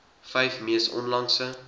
vyf mees onlangse